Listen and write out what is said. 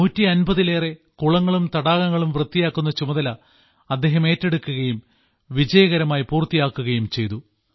150 ലേറെ കുളങ്ങളും തടാകങ്ങളും വൃത്തിയാക്കുന്ന ചുമതല അദ്ദേഹം ഏറ്റെടുക്കുകയും വിജയകരമാക്കി പൂർത്തീകരിക്കുകയും ചെയ്തു